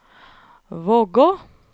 Vågå